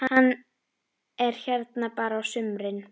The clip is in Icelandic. Hann er hérna bara á sumrin.